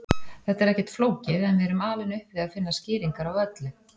Þetta er ekkert flókið en við erum alin upp við að finna skýringar á öllu.